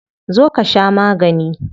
Zo ka sha magani.